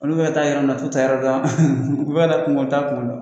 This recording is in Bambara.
Olu bɛ ka taa yɔrɔ min na t'u taayɔrɔ dɔn, u b'a yira kunba ta fana bɔ